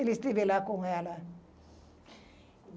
Ele esteve lá com ela.